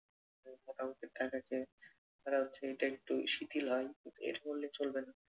মোটা অংকের টাকা খেয়ে তারাও এটা একটু শিথিল হয়। এটা করলে চলবে না।